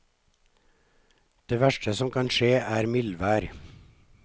Det verste som kan skje er mildvær.